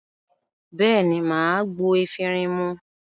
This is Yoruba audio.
Bẹ́ẹ̀ ní, mà á gbo efirin mu.